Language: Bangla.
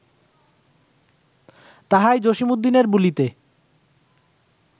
তাহাই জসীমউদ্দীনের বুলিতে